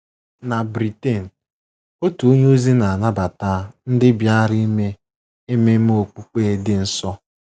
NA Britain, otu onye ozi na-anabata ndị bịara ime ememe okpukpe dị nsọ